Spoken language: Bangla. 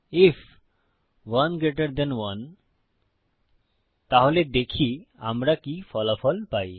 আইএফ 1 জিটি 1 তাহলে দেখি আমরা কি ফলাফল পাই